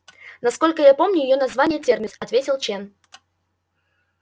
насколько я помню её название терминус ответил чен